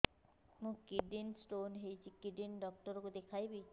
ମୋର kidney stone ହେଇଛି kidney doctor କୁ ଦେଖାଇବି